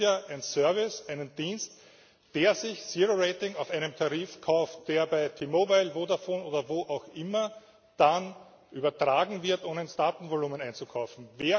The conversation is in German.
Es gibt ja einen Service, einen Dienst, der sich Zero Rating auf einem Tarif kauft, der beim T Mobile, Vodafone oder wo auch immer dann übertragen wird, um in das Datenvolumen einzukaufen.